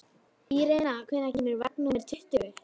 Irena, hvenær kemur vagn númer tuttugu?